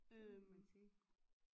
Det må man sige